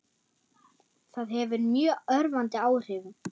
Það hefur mjög örvandi áhrif.